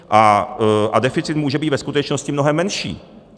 A deficit může být ve skutečnosti mnohem menší.